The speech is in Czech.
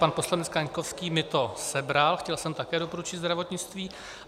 Pan poslanec Kaňkovský mi to sebral, chtěl jsem také doporučit zdravotnictví.